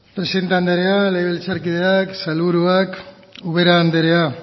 presidente andrea legebiltzarkideok sailburuak ubera andrea